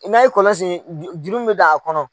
N'an ye kɔlɔn segin juru min mɛ don a kɔnɔ